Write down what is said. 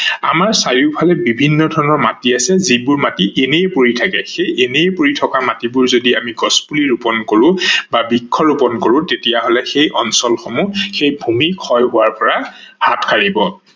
আমাৰ চাৰিও ফালে বিভিন্ন ধৰনৰ মাটি আছে যিবোৰ মাটি এনেই পৰি থাকে, সেই এনেই পৰি থকা মাটিবোৰ যদি আমি গছ পুলি ৰুপন কৰো বা বৃক্ষ ৰুপন কৰো তেতিয়া হলে সেই অঞ্চল সমূহ সেই ভূমি ক্ষয় হোৱাৰ পৰা হাত সাৰিব।